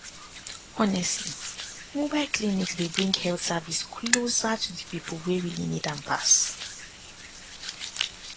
honestly mobile clinics dey bring health service closer to the people wey really need am pass